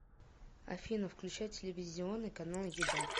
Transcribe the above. афина включай телевизионный канал еда